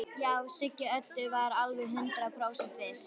Já, Siggi Öddu var alveg hundrað prósent viss.